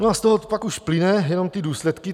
No a z toho pak už plynou jenom ty důsledky.